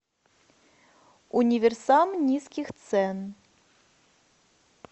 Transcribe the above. универсам низких цен